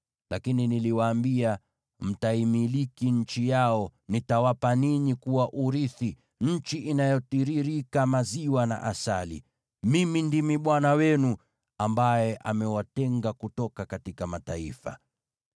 Lakini niliwaambia ninyi, “Mtaimiliki nchi yao; nitawapa ninyi kuwa urithi, nchi inayotiririka maziwa na asali.” Mimi ndimi Bwana Mungu wenu, ambaye amewatenga kutoka mataifa.